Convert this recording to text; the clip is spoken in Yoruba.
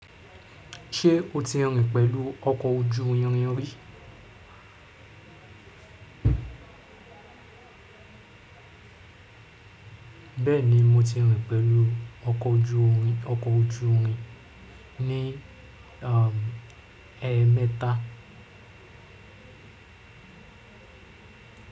Ṣé o ti rìn pẹ̀lú ọkọ̀ ojú irin rí? Bẹ́ẹ̀ni, mo ti rìn pẹ̀lú ọkọ̀ ojú irin ní ẹẹ́mẹta.